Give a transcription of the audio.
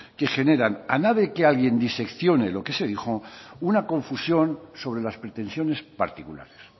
que generan a nada que nadie diseccione lo que se dijo una confusión sobre las pretensiones particulares